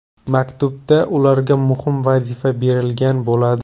Maktubda ularga muhim vazifa berilgan bo‘ladi.